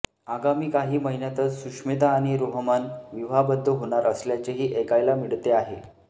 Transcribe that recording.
आगामी काही महिन्यातच सुष्मिता आणि रोहमन विवाहबद्ध होणार असल्याचेही ऐकायला मिळते आहे